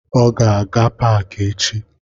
Ọ ga-aga paki echi